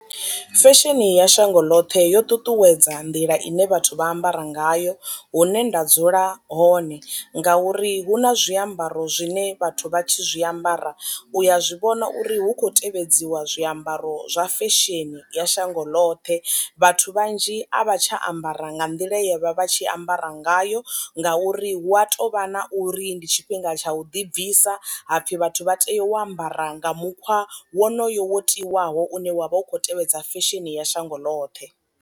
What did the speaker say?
Fesheni ya shango ḽoṱhe yo ṱuṱuwedza nḓila ine vhathu vha ambara ngayo hune nda dzula hone, ngauri hu na zwiambaro zwine vhathu vha tshi zwi ambara u ya zwivhona uri hu khou tevhedziwa zwiambaro zwa fesheni ya shango ḽoṱhe, vhathu vhanzhi a vha tsha ambara nga nḓila ye vha vha tshi ambara ngayo ngauri hu a tovha na uri ndi tshifhinga tsha u ḓi bvisa hapfi vhathu vha tea u ambara nga mukhwa wonoyo wo tiwaho une wa vha u khou tevhedza fesheni ya shango ḽoṱhe.